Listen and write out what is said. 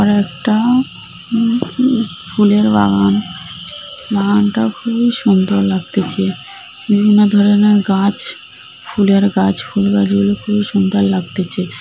আরেকটাও উম উম ফুলের বাগান। বাগানটা খুবই সুন্দর লাগতেছে। বিভিন্ন ধরণের গাছ ফুলের গাছ ফুল গাছ গুলি খুবই সুন্দর লাগতেছে।